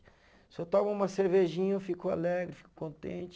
Se eu tomo uma cervejinha, eu fico alegre, fico contente.